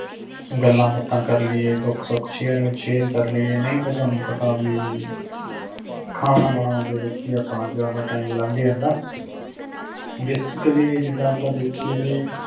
ਗੱਲਾਂ ਬਾਤਾਂ ਕਰ ਲਈਏ ਦੁੱਖ ਸੁੱਖ share and share ਕਰ ਲਈਏ ਨਹੀਂ ਤਾ ਤੁਹਾਨੂੰ ਪਤਾ ਵੀ ਖਾਨਾ ਬਨੌਂਨ ਦੇ ਵਿਚ ਹੀ ਆਪਣਾ ਜਿਆਦਾ time ਹੀ ਲੱਗ ਜਾਂਦਾ basically ਜਿੰਦਾ ਆਪਾ ਦਾਖ਼ੀਏ ਵੀ